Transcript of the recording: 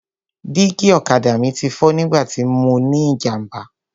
Dígí ọ̀kadà mi ti fọ́ nígbà tí mọ ní ìjàmbá.